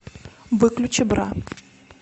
выключи бра